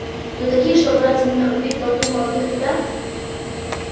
но такие чтобы ради меня убить толпу молодых ребят